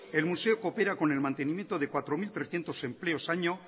el museo coopera con el mantenimiento de cuatro mil trescientos empleos año